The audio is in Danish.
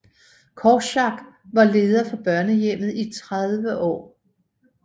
Korczak var leder for børnehjemmet i 30 år